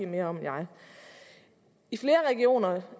mere om end jeg i flere af regionerne